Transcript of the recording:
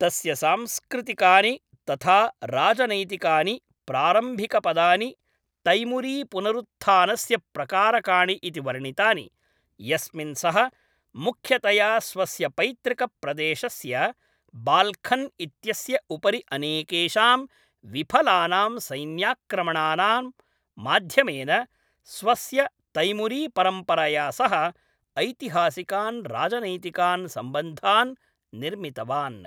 तस्य सांस्कृतिकानि तथा राजनैतिकानि प्रारम्भिकपदानि तैमूरीपुनरुत्थानस्य प्रकारकाणि इति वर्णितानि, यस्मिन् सः मुख्यतया स्वस्य पैतृकप्रदेशस्य बाल्खन् इत्यस्य उपरि अनेकेषां विफलानां सैन्याक्रमणानां माध्यमेन, स्वस्य तैमूरीपरम्परया सह ऐतिहासिकान् राजनैतिकान् सम्बन्धान् निर्मितवान्।